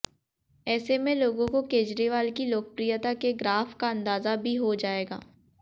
ऐसे में लोगों को केजरीवाल की लोकप्रियता के ग्राफ का अंदाजा भी हो जाएगा